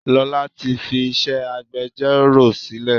Lola tí fi iṣẹ́ agbẹjoro sílè.